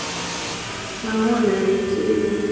nahone a i tei ndivho